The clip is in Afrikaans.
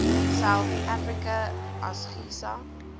south africa asgisa